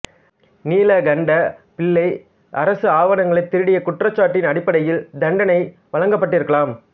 நீலகண்டப் பிள்ளை அரசு ஆவணங்களை திருடிய குற்றச்சாட்டின் அடிப்படையில் தண்டனை வழங்கப்பட்டிருக்கலாம்